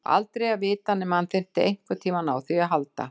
Aldrei að vita nema hann þyrfti einhvern tímann á því að halda!